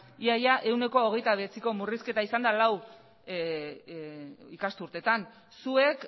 ia ia ehuneko hogeita bederatziko murrizketa izan da lau ikasturteetan zuek